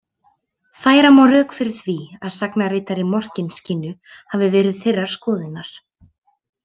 Færa má rök að því að sagnaritari Morkinskinnu hafi verið þeirrar skoðunar.